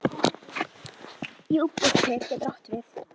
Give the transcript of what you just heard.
Júpíter getur átt við